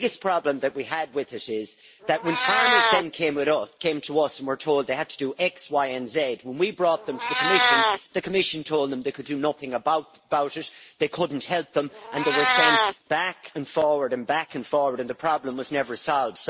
but the biggest problem that we had with it is that when farmers then came to us and were told that they had to do x, y and z, when we brought them to the Commission, the Commission told them they could do nothing about it. They couldn't help them and they were sent back and forward and back and forward and the problem was never solved.